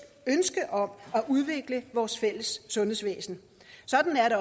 ønske om at udvikle vores fælles sundhedsvæsen sådan er det